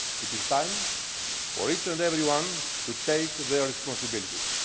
refuge. It is time for each and every one to take their responsibilities.